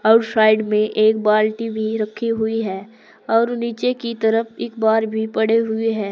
और साइड में एक बाल्टी भी रखी हुई है और नीचे की तरफ अखबार भी पड़े हुए हैं।